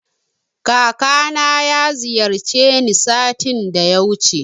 Kakana ya ziyarce ni satin da yawuce